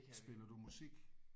Spiller du musik?